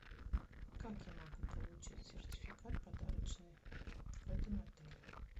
как я могу получить сертификат подарочный в этом отеле